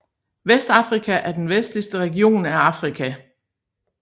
Vestafrika er den vestligste region af Afrika